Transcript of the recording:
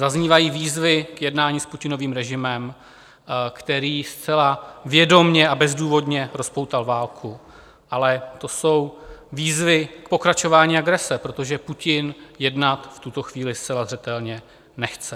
Zaznívají výzvy k jednání s Putinovým režimem, který zcela vědomě a bezdůvodně rozpoutal válku, ale to jsou výzvy k pokračování agrese, protože Putin jednat v tuto chvíli zcela zřetelně nechce.